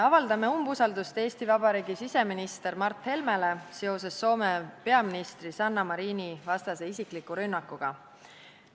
Avaldame umbusaldust Eesti Vabariigi siseministrile Mart Helmele seoses Soome peaministri Sanna Marini vastase isiklikuga rünnakuga.